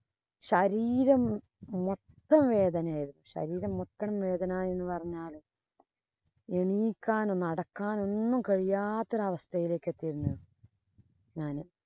ശരീരം മൊത്തം വേദനയായിരുന്നു. ശരീരം മൊത്തം വേദന എന്ന് പറഞ്ഞാല് എണ്ണീക്കാനും, നടക്കാനും ഒന്നും കഴിയാത്ത ഒരു അവസ്ഥയിലേക്ക് എത്തിയിരുന്നു ഞാന്.